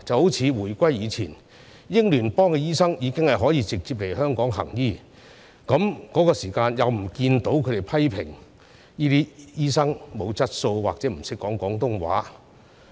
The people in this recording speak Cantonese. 一如回歸之前，英聯邦醫生已經可以直接來香港行醫，當時又不見有人批評這些醫生欠缺質素或者不懂廣東話。